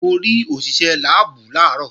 Mo rí òṣìṣé láàbù làárọ̀